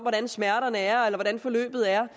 at smerterne er eller hvordan forløbet er